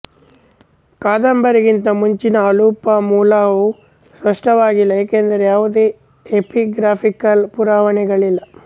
ಕದಂಬರಿಗಿಂತ ಮುಂಚಿನ ಅಲುಪಾ ಮೂಲವು ಸ್ಪಷ್ಟವಾಗಿಲ್ಲ ಏಕೆಂದರೆ ಯಾವುದೇ ಎಪಿಗ್ರಾಫಿಕಲ್ ಪುರಾವೆಗಳಿಲ್ಲ